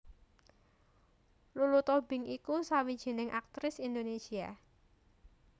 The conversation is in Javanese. Lulu Tobing iku sawijining aktris Indonésia